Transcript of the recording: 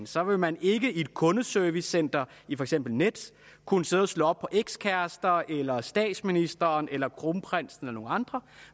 så vil man ikke i et kundeservicecenter i for eksempel nets kunne sidde og slå op på ekskærester eller statsministeren eller kronprinsen eller nogen andre